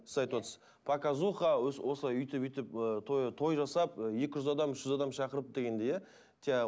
сіз айтып отырсыз показуха өйтіп өйтіп ы той той жасап екі жүз адам үш жүз адам шақырып дегендей иә жаңағы